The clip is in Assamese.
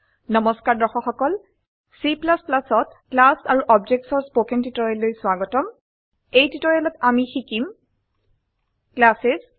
Cত ক্লাছেছ আৰু Objectsৰ স্পকেন টিউটোৰিয়েললৈ স্বাগতম এই টিউটোৰিয়েলত আমি শিকিম ক্লাছেছ